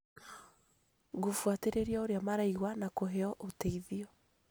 gũbuatĩrĩria ũrĩa maraigua na kũheo ũteithio.